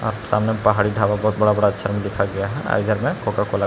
सामने पहाड़ी ढाबा बहुत बड़ा बड़ा अक्षर में लिखा गया है और इधर में कोका कोला